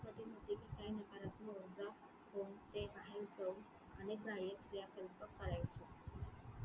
काही चव आणि बाह्यक्रियाकल्प करायचो.